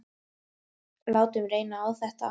Látum reyna á þetta.